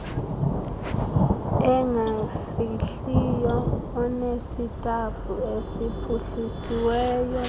engafihliyo onesitafu esiphuhlisiweyo